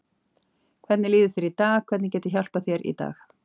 Hvernig líður þér í dag, hvernig get ég hjálpað þér í dag?